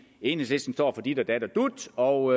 enhedslisten står for dit og dat og dut og